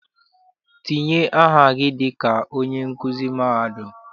Tinye aha gị dịka onye nkuzi mahadum!